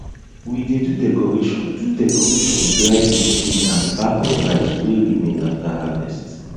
we dey do decoration do decoration with dry leaf seed and back of rice wey remain after harvest